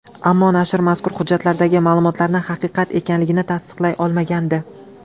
Ammo nashr mazkur hujjatlardagi ma’lumotlarni haqiqat ekanligini tasdiqlay olmagandi.